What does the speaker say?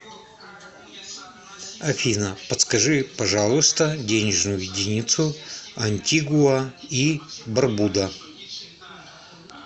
афина подскажи пожалуйста денежную единицу антигуа и барбуда